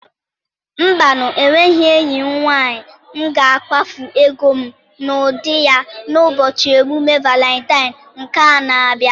Mba nụ! enweghị m enyi nwanyị m ga-akwafu ego m n'ụdị ya n'ụbọchị emume Valentine nke a na-abịa.